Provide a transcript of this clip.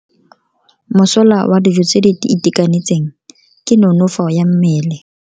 Mosola wa dijo tse di itekanetseng ke nonofo ya mmele.